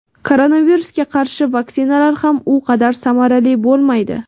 koronavirusga qarshi vaksinalar ham u qadar samarali bo‘lmaydi.